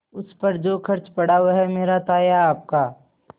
उस पर जो खर्च पड़ा वह मेरा था या आपका